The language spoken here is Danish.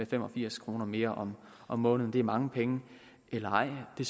fem og firs kroner mere om måneden er mange penge eller ej det